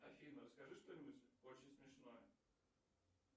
афина скажи что нибудь очень смешное